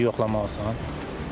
İndi yoxlamaq lazımdır.